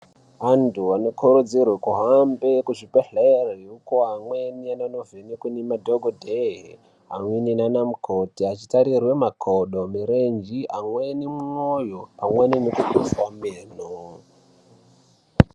Antu anokurudzirwe kuhambe kuzvibhehlera uko amweni anonovhenekwa nemadhokodheya amweni nanamukoti achitarirwe makodo, mirenje amweni mwoyo amweni nezvakadaro.